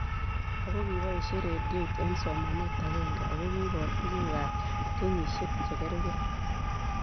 Ako kipoishe rediot eng' somanet ag'eng'e ako kipor tuguk ab kenyishek che karkei